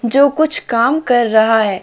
जो कुछ काम कर रहा है।